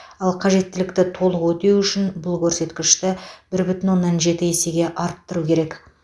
ал қажеттілікті толық өтеу үшін бұл көрсеткішті бір бүтін оннан жеті есеге арттыру керек